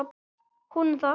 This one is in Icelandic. Hún um það.